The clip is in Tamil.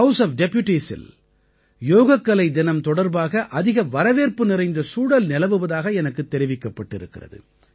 ஹவுஸ் ஒஃப் Deputiesஇல் யோகக்கலை தினம் தொடர்பாக அதிக வரவேற்பு நிறைந்த சூழல் நிலவுவதாக எனக்கு தெரிவிக்கப் பட்டிருக்கிறது